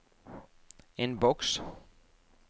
innboks